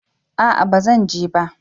a'a ba zan je ba